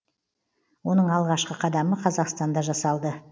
оның алғашқы қадамы қазақстанда жасалды